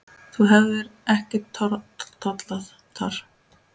Þú hefðir ekki tollað þar.